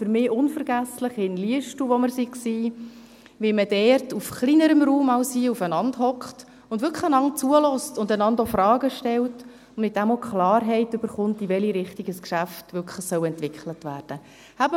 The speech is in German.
Für mich ist unvergesslich, wie man in Liestal, wo wir waren, auf kleinerem Raum als hier beieinandersitzt, einander wirklich zuhört, einander auch Fragen stellt und somit auch Klarheit erhält, in welche Richtung ein Geschäft entwickelt werden soll.